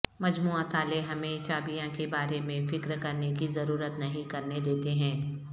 مجموعہ تالے ہمیں چابیاں کے بارے میں فکر کرنے کی ضرورت نہیں کرنے دیتے ہیں